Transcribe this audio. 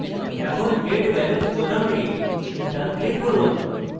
এখন get balance বোতামে ডান click করুন